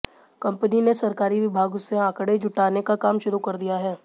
company ने सरकारी विभागों से आंकड़े जुटाने का काम शुरू कर दिया है